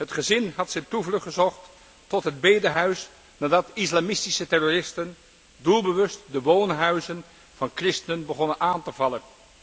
Het gezin had zijn toevlucht gezocht tot het bedehuis nadat islamitische terroristen doelbewust de woonhuizen van christenen waren begonnen aan te vallen.